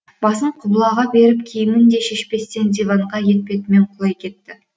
басын құбылаға беріп киімін де шешпестен диванға етбетімен құлай кетті